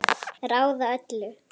Ráða öllu?